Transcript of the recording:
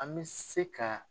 An mi se ka